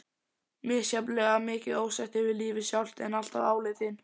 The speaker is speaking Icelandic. Misjafnlega mikið ósætti við lífið sjálft, en alltaf áleitinn.